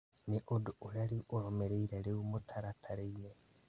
Nĩ ũndũ ũrĩa ũrũmĩrĩire rĩu mũtaratara-inĩ